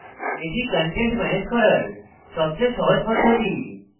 এটি content manage করার সবচেয়ে সহজ পদ্ধতি